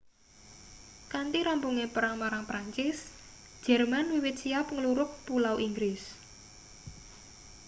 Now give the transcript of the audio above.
kanthi rampunge perang marang perancis jerman wiwit siap nglurug pulau inggris